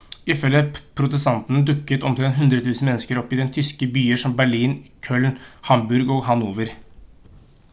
ifølge protestantene dukket omtrent 100 000 mennesker opp i tyske byer som berlin køln hamburg og hanover